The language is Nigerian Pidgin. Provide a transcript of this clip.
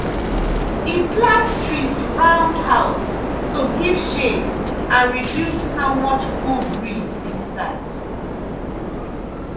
e plant trees round house to give shade and reduce how much cool breeze inside.